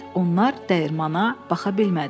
Onlar dəyirmana baxa bilmədi.